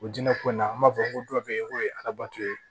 O jinɛ ko in na an b'a fɔ ko dɔ be yen k'o ye arabatɔ ye